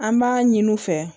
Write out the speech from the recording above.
An b'a ɲini u fɛ